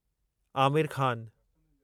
Aamir Khan